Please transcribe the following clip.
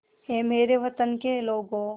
ऐ मेरे वतन के लोगों